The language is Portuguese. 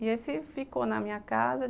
E esse ficou na minha casa.